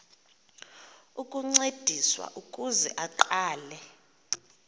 ukuncediswa ukuze aqale